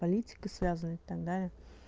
политика связывает и так далее